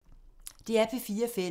DR P4 Fælles